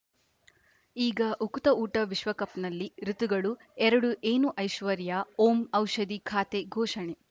ಈಗ ಉಕುತ ಊಟ ವಿಶ್ವಕಪ್‌ನಲ್ಲಿ ಋತುಗಳು ಎರಡು ಏನು ಐಶ್ವರ್ಯಾ ಓಂ ಔಷಧಿ ಖಾತೆ ಘೋಷಣೆ